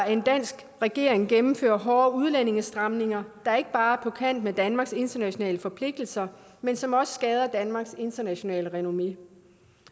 en dansk regering gennemføre hårde udlændingestramninger der ikke bare er på kant med danmarks internationale forpligtelser men som også skader danmarks internationale renommé